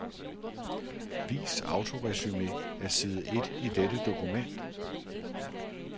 Vis autoresumé af side et i dette dokument.